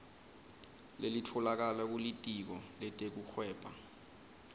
lelitfolakala kulitiko letekuhweba